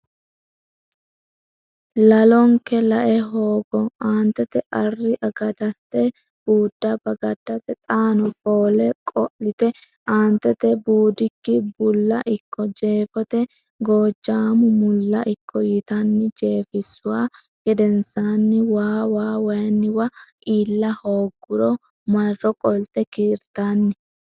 lalonke lae hoogo Aantete Arri agaddate buudda bagaddate xaano foole qo lite Aantete Buudikki bulla ikko Jeefote Gojaamu mulla ikko yitanni jeefissuhu gedensaanni waa waa wayinniwa iilla hoogguro marro qolte kiirtanni.